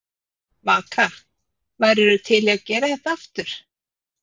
Vaka: Værirðu til í að gera þetta aftur?